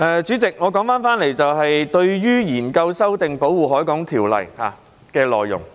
主席，說回議員擬研究及修訂的《條例》的內容。